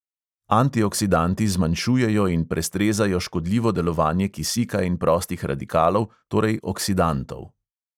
Antioksidanti zmanjšujejo in prestrezajo škodljivo delovanje kisika in prostih radikalov, torej oksidantov.